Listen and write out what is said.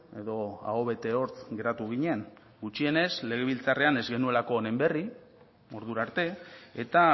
edo aho bete hortz geratu ginen gutxienez legebiltzarrean ez genuelako honen berri ordura arte eta